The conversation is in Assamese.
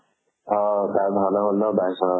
অʼ তাত ভাওনা ন, ত